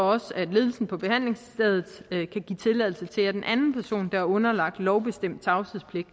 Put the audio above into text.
også at ledelsen på behandlingsstedet kan give tilladelse til at en anden person der er underlagt en lovbestemt tavshedspligt